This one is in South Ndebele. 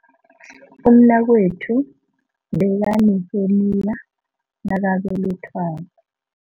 Umnakwethu bekaneheniya nakabelethwako.